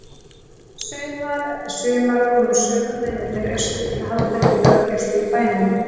Sumar eftir sumar komu sömu mennirnir austur til að halda uppi löggæslu í bænum.